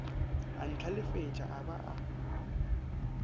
a ntlhalefetša a ba a